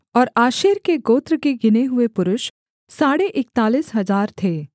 और आशेर के गोत्र के गिने हुए पुरुष साढ़े इकतालीस हजार थे